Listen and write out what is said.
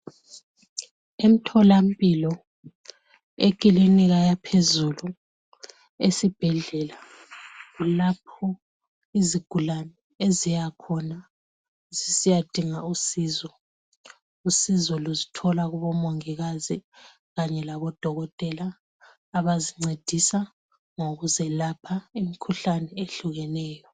emtholampilo ekilinika yaphezulu esibhedlela kulapho izigulane eziyakhona zisiyadinga usizo usizo luzithola kubomongikazi kanye labo dokotela abazincedisa ngokuzelapha imikhuhlane ehlukeneyo